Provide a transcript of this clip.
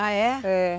Ah é? É.